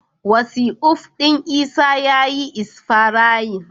Wasi'of ɗin Isa ya yi isfayarin.